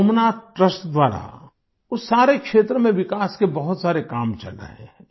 Somnath trust द्वारा उस सारे क्षेत्र में विकास के बहुत सारे काम चल रहे हैं